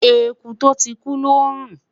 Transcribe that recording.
ẹkú to tí kú lò nrun